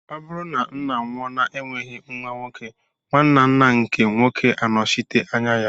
Ọ bụrụ na ńnà nwụọ na enweghị nwa nwoke, nwanne ńnà nke nwoke anochite anya ya.